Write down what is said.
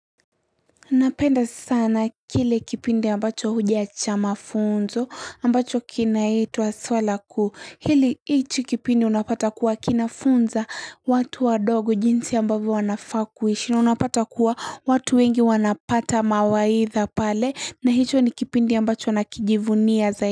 Napenda sana kile kipindi ambacho huja cha mafunzo ambacho kinaitwa swala kuu hili hichi kipindi unapata kuwa kinafunza watu wa ndogo jinsi ambavyo wanaafakuishi na unapata kuwa watu wengi wanapata mawaidha pale na hicho ni kipindi ambacho nakijivunia zaidi.